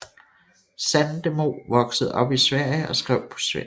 Sandemo voksede op i Sverige og skrev på svensk